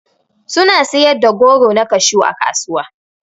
Suna siyar da goro na kashew ã kasuwa.